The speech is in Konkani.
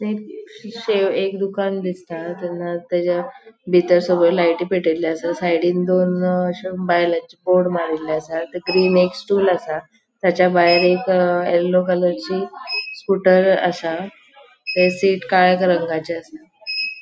ती शी शे एक दुकान दिसता तेच्या बितर सगळो लायटी पेटेले आसा साइडीन दोन अशे बायलांचे बोर्ड मारील्ले आसा थंय ग्रीन एक स्टूल आसा तेच्या भायर एक येल्लो कलर ची स्कूटर आसा तेची शीट काळ्या रंगाचे आसा.